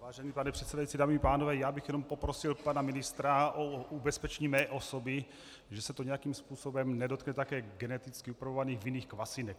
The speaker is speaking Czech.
Vážený pane předsedající, dámy i pánové, já bych jenom poprosil pana ministra o ubezpečení mé osoby, že se to nějakým způsobem nedotkne také geneticky upravovaných vinných kvasinek.